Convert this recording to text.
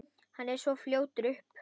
Hann er svo fljótur upp.